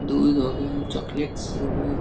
दूध हो गये चॉकलेट्स हो गए।